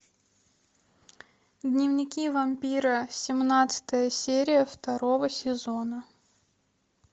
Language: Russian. дневники вампира семнадцатая серия второго сезона